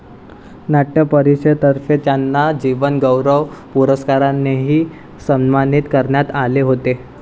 नाट्य परिषदेतर्फे त्यांना जीवनगौरव पुरस्कारानेही सन्मानित करण्यात आले होते.